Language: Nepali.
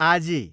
आजी